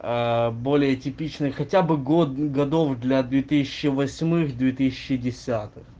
более типичный хотя бы год годов для две тысячи восьмых две тысячи десятых